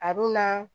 A dun na